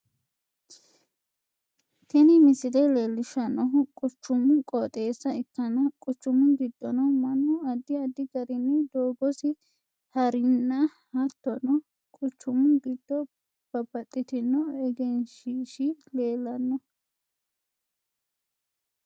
Tini misile leelishanohu quchumu qooxeessa ikkanna quchumu gidono Manu addi addi garinni doogosi harinna hattono quchumu gido babbaxitino egenshiishi leelano.